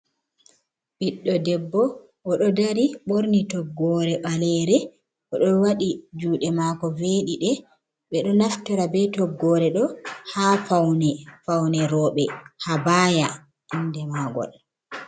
Ɓiɗɗo debbo o ɗo dari ɓorni toggoore ɓaleere o ɗo waɗi juuɗe maako veeɗiɗe ɓe ɗoo naftora bee toggoore ɗo'o haa fawne roobe, habaaya innde maagol.